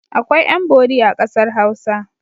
Akwai ƴan-bori a ƙasar Hausa.